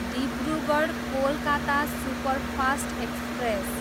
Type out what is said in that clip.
Dibrugarh, Kolkata superfast express